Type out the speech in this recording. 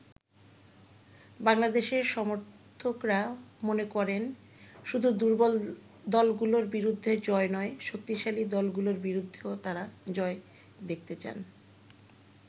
বাংলাদেশের সমর্থকরা মনে করেন, শুধু দুর্বল দলগুলোর বিরুদ্ধে জয় নয়, শক্তিশালী দলগুলোর বিরুদ্ধেও তারা জয় দেখতে চান।